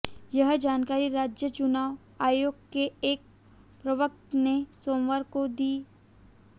यह जानकारी राज्य चुनाव आयोग के एक प्रवक्ता ने सोमवार को दी